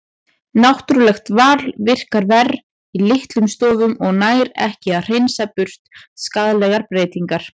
Náttúrulegt val virkar verr í litlum stofnum og nær ekki að hreinsa burt skaðlegar breytingar.